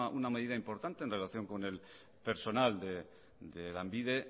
una medida importante en relación con el personal de lanbide